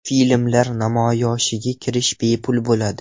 Filmlar namoyishiga kirish bepul bo‘ladi.